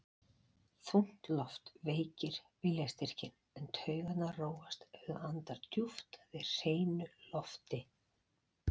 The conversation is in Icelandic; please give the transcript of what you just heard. Þung loft veikir viljastyrkinn, en taugarnar róast ef þú andar djúpt að þér hreinu lofti.